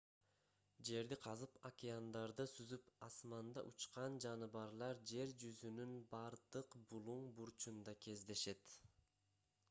жерди казып океандарда сүзүп асманда учкан жаныбарлар жер жүзүнүн бардык булуң бурчунда кездешет